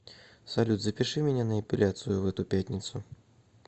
салют запиши меня на эпиляцию в эту пятницу